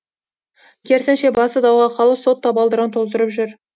керісінше басы дауға қалып сот табалдырығын тоздырып жүр